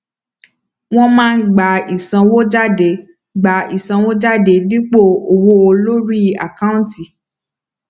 wọn máa gba ìsanwójádé gba ìsanwójádé dípò owó lórí àkáǹtì